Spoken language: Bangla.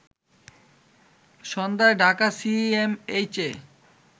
সন্ধ্যায় ঢাকা সিএমএইচে